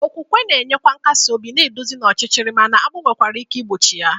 Okwukwe na-enye nkasi obi, na-eduzi n'ọchịchịrị, mana agbụ nwekwara ike igbochi ya.